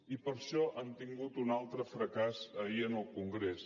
i per això han tingut un altre fracàs ahir en el congrés